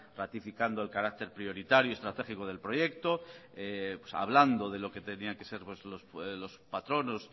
ratificando el carácter prioritario y estratégico del proyecto hablando de lo que tenía que ser los patronos